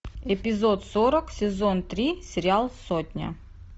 эпизод сорок сезон три сериал сотня